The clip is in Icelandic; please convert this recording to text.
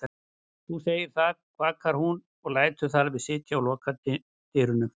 Þú segir það, kvakar hún en lætur þar við sitja og lokar dyrunum.